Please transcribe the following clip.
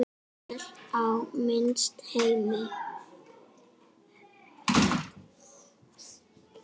Vel á minnst: Hemmi.